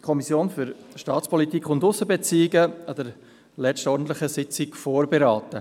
…]» an ihrer letzten ordentlichen Sitzung vorberaten.